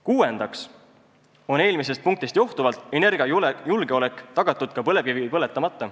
Kuuendaks on eelmisest punktist johtuvalt energiajulgeolek tagatud ka põlevkivi põletamata.